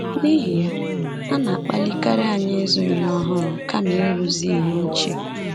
N’ihi ya, a na-akpalikarị anyị ịzụ ihe ọhụrụ kama ịrụzi ihe ochie.